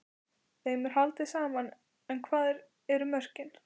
Þeim er haldið saman en hvar eru mörkin?